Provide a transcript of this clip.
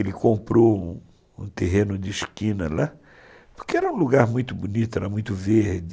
Ele comprou um terreno de esquina lá, porque era um lugar muito bonito, era muito verde.